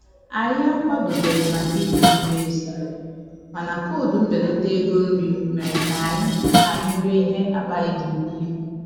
Anyị akwadobeghị maka iri nri n'èzí, mana koodu mbelata ego nri mere ka anyị anyị rie ihe akpa anyị ga-ebuli